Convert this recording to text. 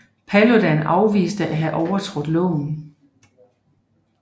Paludan afviste at have overtrådt loven